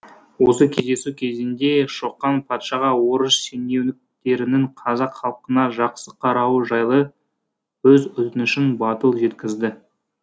осы кездесу кезінде шоқан патшаға орыс шенеуніктерінің қазақ халқына жақсы қарауы жайлы өз өтінішін батыл жеткізді